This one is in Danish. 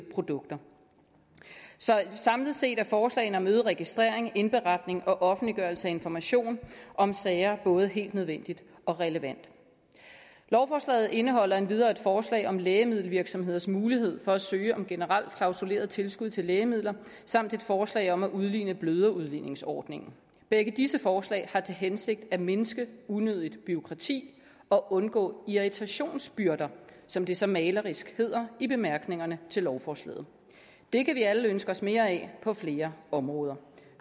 produkter samlet set er forslagene om øget registrering indberetning og offentliggørelse af information om sager både helt nødvendige og relevante lovforslaget indeholder endvidere et forslag om lægemiddelvirksomheders mulighed for at søge om generelt klausuleret tilskud til lægemidler samt et forslag om at udligne bløderudligningsordningen begge disse forslag har til hensigt at mindske unødigt bureaukrati og undgå irritationsbyrder som det så malerisk hedder i bemærkningerne til lovforslaget det kan vi alle ønske os mere af på flere områder